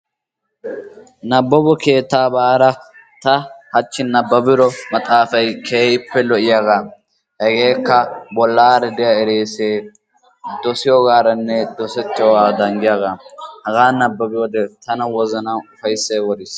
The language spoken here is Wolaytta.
Nababo keettaa baada haachchi ta nababiido maxaafay keehippe lo"iyaagaa. Hegeekka bollaani de'iyaa erisee dosiyooganne dosettiyoogaa giyaagaa. hagaa nababiyoode tana wozanaan ufayssay woriis.